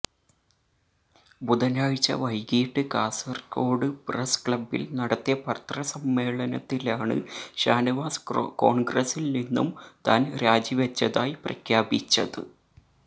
ബുധനാഴ്ച വൈകിട്ട് കാസര്കോട് പ്രസ് ക്ലബ്ബില് നടത്തിയ പത്രസമ്മേളനത്തിലാണ് ഷാനവാസ് കോണ്ഗ്രസില് നിന്നും താന് രാജിവെച്ചതായി പ്രഖ്യാപിച്ചത്